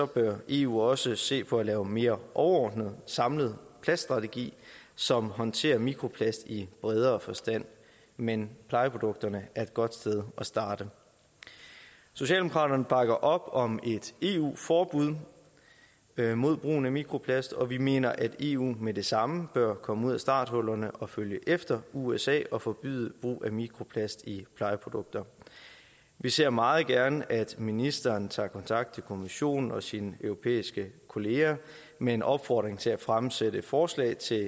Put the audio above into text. bør eu også se på at lave en mere overordnet og samlet plaststrategi som håndterer mikroplast i bredere forstand men plejeprodukterne er et godt sted at starte socialdemokraterne bakker op om et eu forbud mod brugen af mikroplast og vi mener at eu med det samme bør komme ud af starthullerne og følge efter usa og forbyde brug af mikroplast i plejeprodukter vi ser meget gerne at ministeren tager kontakt til kommissionen og sine europæiske kollegaer med en opfordring til at fremsætte forslag til